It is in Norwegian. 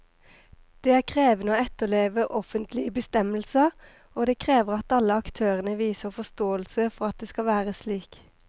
Det er krevende å etterleve offentlige bestemmelser, og det krever at alle aktørene viser forståelse for at det skal være slik.